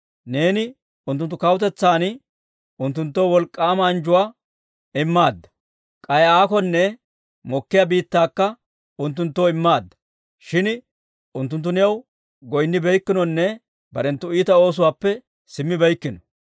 Neeni unttunttu kawutetsan unttunttoo wolk'k'aama anjjuwaa immaadda; k'ay aakonne mokkiyaa biittaakka unttunttoo immaadda; shin unttunttu new goynnibeykkinonne barenttu iita oosuwaappe simmibeykkino.